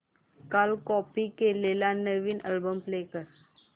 काल कॉपी केलेला नवीन अल्बम प्ले कर